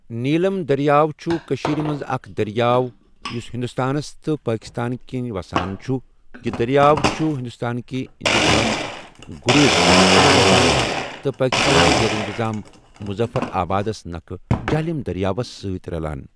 نیلم دٔرِیاو چھُ کٔشیٖر مَنٛز اَکھ دٔرِیاو یُس ہِندوستانَس تہٕ پٲکِستان کِن وَسان چھُ یہِ دٔرِیاو چھُ ہِندوستانکِہ اِنتِظام غُریز پؠٹھ شُروع گَژھان تہٕ پاکِستانکِہ زیرِ انِتِظام مُظفّر آبادس نَکھہٕ جہلِم دٔرِیاوَس سٟتؠ رَلان